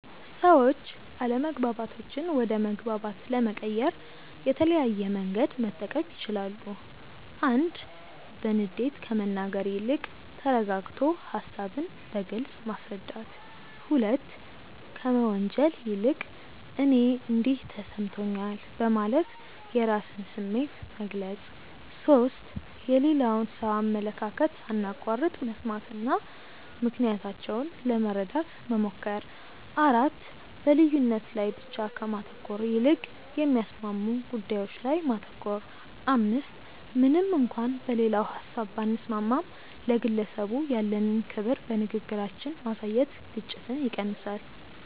ሰዎች አለመግባባቶችን ወደ መግባባት ለመቀየር የተለያየ መንገድ መጠቀም ይችላሉ፦ 1. በንዴት ከመናገር ይልቅ ተረጋግቶ ሃሳብን በግልጽ ማስረዳት። 2. ከመወንጀል ይልቅ "እኔ እንዲህ ተሰምቶኛል" በማለት የራስን ስሜት መግለጽ። 3. የሌላውን ሰው አመለካከት ሳናቋርጥ መስማትና ምክንያታቸውን ለመረዳት መሞከር። 4. በልዩነት ላይ ብቻ ከማተኮር ይልቅ የሚያስማሙ ጉዳዮች ላይ ማተኮር። 5. ምንም እንኳን በሌላው ሀሳብ ባንስማማም፣ ለግለሰቡ ያለንን ክብር በንግግራችን ማሳየት ግጭትን ይቀንሳል።